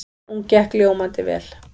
Hún gekk ljómandi vel.